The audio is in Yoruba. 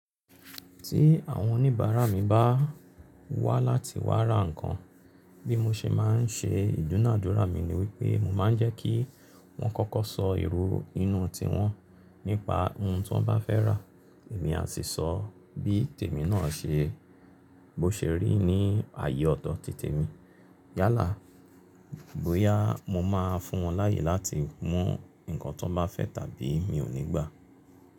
Tí àwọn oníbàárà mi bá wá láti wá ra nǹkan bí mo ṣe máa ń ṣe, ìdúnàádúrà mi ni wípé mo máa ń jẹ́ kí wọ́n kọ́kọ́ sọ ìrọ inú tiwọn nípa ohun tí wọ́n bá fẹ́ rà, èmi a sì sọ bí tèmi náà ṣe bó ṣe rí ní ààyè ọ̀tọ̀ ti temi. Yálà bóyá mo máa fún wọn láàyè láti mú nǹkan tó bá fẹ́ tàbí mi ò ní gbà.